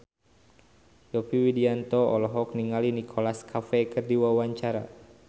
Yovie Widianto olohok ningali Nicholas Cafe keur diwawancara